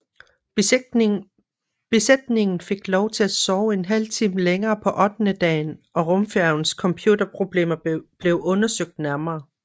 Besætningen fik lov til at sove en halv time længere på ottendedagen og rumfærgens computerproblemer blev undersøgt nærmere